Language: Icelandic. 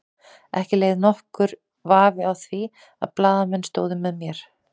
Ekki lék nokkur vafi á því að blaðamenn stóðu með mér.